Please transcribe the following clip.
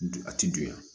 A ti dunya